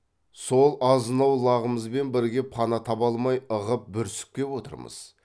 сол азынаулағымызбен бірге пана таба алмай ығып бүрісіп кеп отырмыз